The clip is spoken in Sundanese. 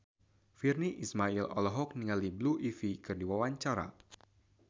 Virnie Ismail olohok ningali Blue Ivy keur diwawancara